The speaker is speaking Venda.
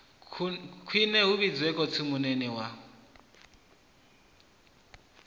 khwine hu vhidzwe khotsimunene wa